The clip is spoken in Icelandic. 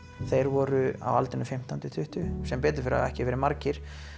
þeir voru á aldrinum fimmtán til tuttugu sem betur fer hafa þeir ekki verið margir